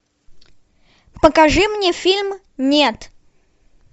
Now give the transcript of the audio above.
покажи мне фильм нет